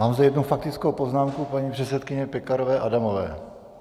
Mám zde jednu faktickou poznámku paní předsedkyně Pekarové Adamové.